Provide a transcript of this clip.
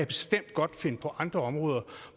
bestemt godt finde andre områder